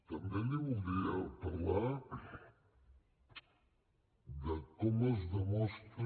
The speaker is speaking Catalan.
també li voldria parlar de com es demostra